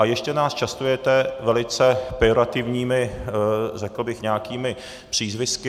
A ještě nás častujete velice pejorativními, řekl bych, nějakými přízvisky.